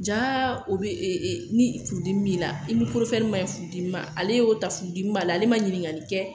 Ja o bɛ ni furudimi b'i la i ni man ɲi furu dimi ma ale y'o ta furu dimi b'ale ma ɲininkali kɛ